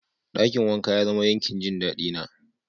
Dakin wanka ya zama yankin jin dadi na.